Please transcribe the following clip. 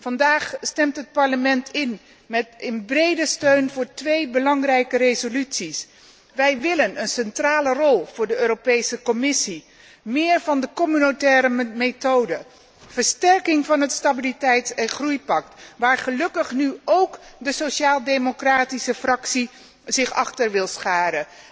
Vandaag stemt het Parlement met een brede steun voor twee belangrijke resoluties. Wij willen een centrale rol voor de Europese Commissie, meer communautaire methode, versterking van het stabiliteits en groeipact, waar gelukkig nu ook de Sociaal democratische Fractie zich wil achterscharen.